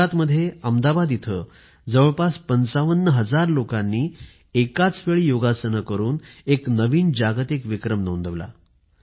गुजरातमध्ये अहमदाबाद इथं जवळपास ५५ हजार लोकांनी एकाच वेळी योगासने करून एक नवीन जागतिक विक्रम नोंदवला